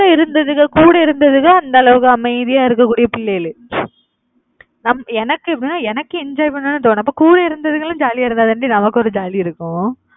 கூட இருந்ததுங்க கூட இருந்ததுங்க அந்த அளவுக்கு அமைதியா இருக்கக்கூடிய பிள்ளைகளு எனக்கு எனக்கு enjoy பண்ணணும்னு தோணும் அப்ப கூட இருந்ததுகளும் jolly யா இருந்தாதான்டி நமக்கு ஒரு jolly இருக்கும்.